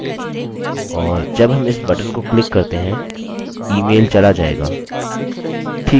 और जब हम इस बटन को क्लिक करते हैं ईमेलemail चला जाएगा